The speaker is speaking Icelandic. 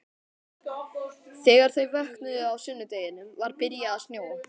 Þegar þau vöknuðu á sunnudeginum var byrjað að snjóa.